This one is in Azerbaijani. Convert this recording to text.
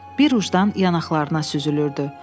Bir ucdan yanaqlarına süzülürdü.